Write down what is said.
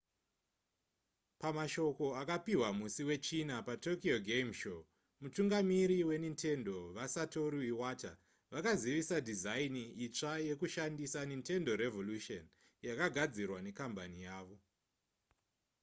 pamashoko akapihwa musi wechina patokyo game show mutungamiri wenintendo vasatoru iwata vakazivisa dhizaini itsva yekushandisa nintendo revolution yakagadzirwa nekambani yavo